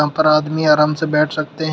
ऊपर आदमी आराम से बैठ सकते हैं।